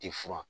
Ti furan